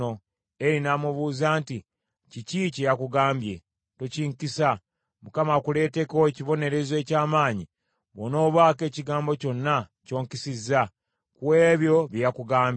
Eri n’amubuuza nti, “Kiki kye yakugambye? Tokinkisa. Katonda akuleeteko ekibonerezo eky’amaanyi bw’onoobaako ekigambo kyonna ky’onkisizza ku ebyo bye yakugambye.”